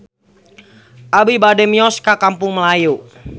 Abi bade mios ka Kampung Melayu